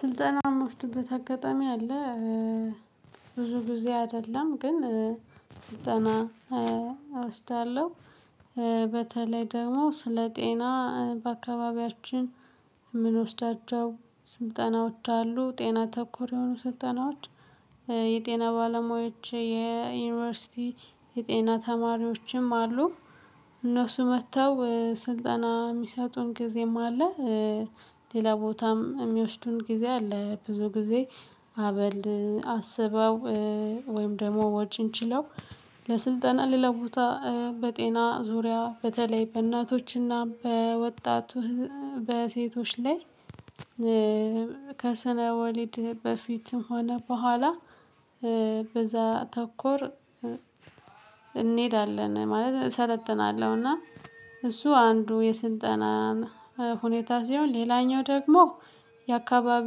ስልጠና እምወድበት አጋጣሚ አለ። ብዙ ግዜ አይደለም ግን ስጠና አወስዳለሁ። በተለይ ደግሞ ስለ ጤና በአካባቢያችን የምንወስዳቸው ስልጠናዎች አሉ ጤና ተኮር የሆኑ ስልጠናዎች የጤና ባለሙያዎች የዩኒቨርሲቲ የጤና ተማሪዎችም አሉ። እነሱ መተው ስልጠና የሚሰጡን ጊዜም አለ። ሌላ ቦታም የሚወስዱን ጊዜ አለ። ብዙ ጊዜ አበል አስበው ወይም ደግሞ ወጪን ችለው ለስልጠና ሌላ ቦታ በጤና ዙሪያ በተለይ በእናቶችና በወጣቱ በሴቶች ላይ። ከስነ ወሊድ በፊትም ሆነ በኋላ በዛ ተኮር እንሄዳለን ማለት እሰለጥናለሁና። እሱ አንዱ የስልጠና ሁኔታ ሲሆን ሌላኛው ደግሞ የአካባቢው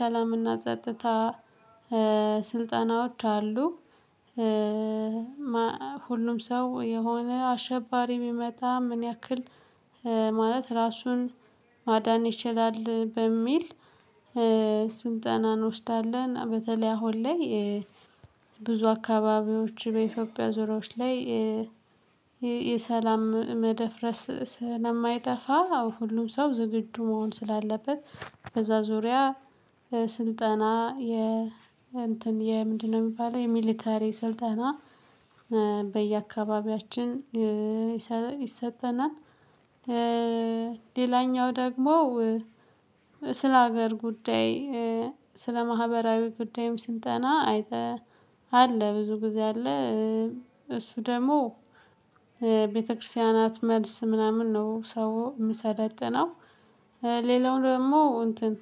ሰላምና ጸጥታ ስልጣናዎች አሉ። ሁሉም ሰው የሆነ አሸባሪ ቢመጣ ምን ያክል ማለት ራሱን ማዳን ይችላል በሚል ስልጠና እንወስዳለን በተለይ አሁን ላይ። ብዙ አካባቢዎች በኢትዮጵያ ዙሪያዎች ላይ የሰላም መደፍረስ ስለማይጠፋ ሁሉም ሰው ዝግጁ መሆን ስላለበት። በዛ ዙሪያ ስልጠና የ እንትን የምንድነው የሚባለው የሚሊተሪ ስልጠና በየአካባቢያችን ይሰጠናል። ሌላኛው ደግሞ ስለ ሀገር ጉዳይ ስለ ማህበራዊ ጉዳይም ስልጠና አይጠ አለ ብዙ ጊዜ አለ። እሱ ደግሞ ቤተክርስቲያናት መልስ ምናምን ነው ሰው የሚሰለጥነው። ሌላው ደግሞ እንትን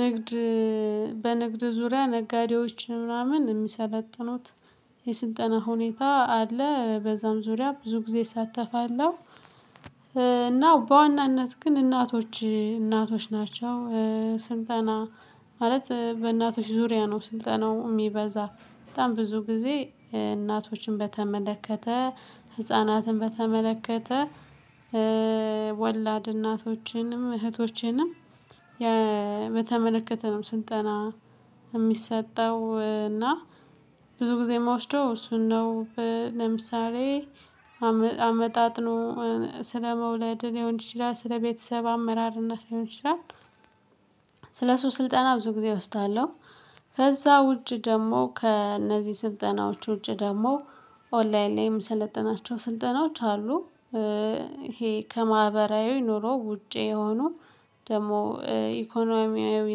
ንግድ በንግድ ዙሪያ ነጋዴዎች ምናምን የሚሰለጥኑት የስልጠና ሁኔታ አለ በዛም ዙሪያ ብዙ ጊዜ እሳተፋለሁ። እና በዋናነት ግን እናቶች እናቶች ናቸው። ስልጠና ማለት በእናቶች ዙሪያ ነው ስልጠናው እሚበዛ በጣም ብዙ ጊዜ እናቶችን በተመለከተ ህፃናትን በተመለከተ ወላድ እናቶችንም እህቶችንም በተመለከተ ነው ስልጠና እሚሰጠው እና ብዙ ጊዜ የምወስደው እሱን ነው። ለምሳሌ አመጣጥኖ ስለመውለድ ሊሆን ይችላል ስለቤተሰብ አመራርነት ሊሆን ይችላል። ስለሱ ስልጠና ብዙ ጊዜ እወስዳለሁ። ከዛ ውጪ ደግሞ ከእነዚህ ስልጠናዎች ውጭ ደግሞ ኦንላይን ላይ የምሰለጥናቸው ስልጠናዎች አሉ። ይሄ ከማህበራዊ ኑሮ ውጪ የሆኑ ደግሞ ኢኮኖሚያዊ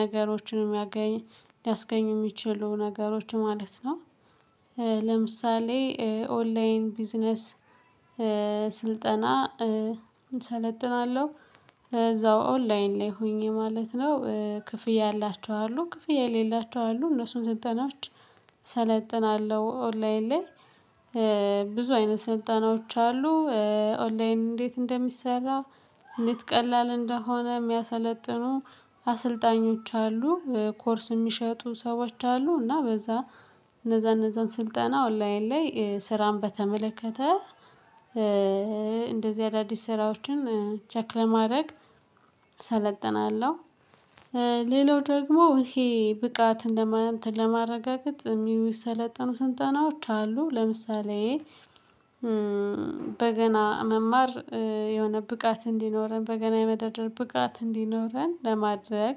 ነገሮችን የሚያገኝ ሊያስገኙ የሚችሉ ነገሮች ማለት ነው። ለምሳሌ ኦንላይን ቢዝነስ ስልጠና እሰለጥናለሁ እዛው ኦንላይን ላይ ሆኜ ማለት ነው ክፍያ ያላቸው አሉ። ክፍያ የሌላቸው አሉ። እነሱን ስልጠናዎች እሰለጥናለሁ ኦንላይን ላይ ብዙ አይነት ስልጠናዎች አሉ። ኦንላይን እንዴት እንደሚሰራ እንዴት ቀላል እንደሆነ የሚያሰለጥኑ አሰልጣኞች አሉ ኮርስ የሚሸጡ ሰዎች አሉ። እና በዛ እነዛ እነዛን ስልጠና ኦንላይን ላይ ስራን በተመለከተ እንደዚህ አዳዲስ ስራዎችን ቼክ ለማድረግ አሰለጥናለሁ። ሌላው ደግሞ ይሄ ብቃት እንደማን ለማረጋገጥ የሚሰለጠኑ ስልጠናዎች አሉ። ለምሳሌ በገና መማር የሆነ ብቃት እንዲኖረን በገና የመደርደር ብቃት እንዲኖረን ለማድረግ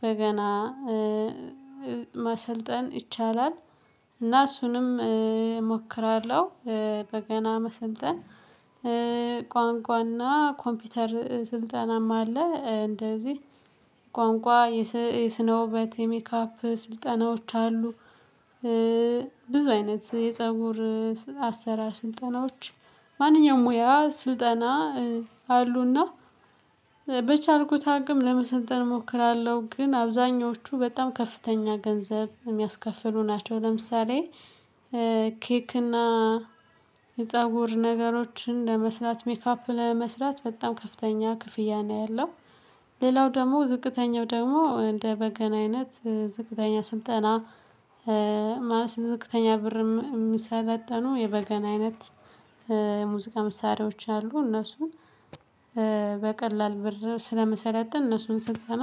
በገና ማሰልጠን ይቻላል። እና እሱንም እሞክራለሁ። በገና መስልጠን ቋንቋና ኮምፒውተር ስልጠናም አለ። እንደዚህ ቋንቋ የስነውበት የሜካፕ ስልጠናዎች አሉ። ብዙ አይነት የፀጉር አሰራር ስልጠናዎች ማንኛውም ሙያ ስልጠና አሉና በቻልኩት አቅም ለመሰልጠን እሞክራለሁ። ግን አብዛኞቹ በጣም ከፍተኛ ገንዘብ የሚያስከፍሉ ናቸው። ለምሳሌ ኬክ እና የፀጉር ነገሮችን ለመስራት ሜካፕ ለመስራት በጣም ከፍተኛ ክፍያ ነው ያለው። ሌላው ደግሞ ዝቅተኛው ደግሞ እንደ በገና አይነት ዝቅተኛ ስልጠና ማለት ዝቅተኛ ብርም የሚሰለጠኑ የበገና አይነት የሙዚቃ መሳሪያዎች አሉ። እነሱን በቀላል ብር ስለምሰለጥ እነሱን ስልጠና እወስዳለሁ